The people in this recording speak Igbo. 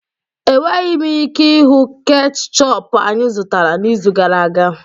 Enweghị m ike ịhụ ketchup anyị zụtara n'izu gara aga